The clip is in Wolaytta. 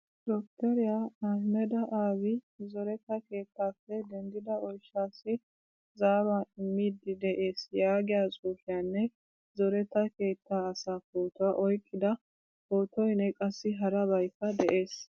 Dokteriyaa ahmeda abiy zoretta keettappe denddida oyshaasi zaaruwaa immidi de'ees yaagiyaa xuufiyaanne zoretta keettaa asaa pootuwaa oyqqida pootoynne qassi harabaykka de'ees.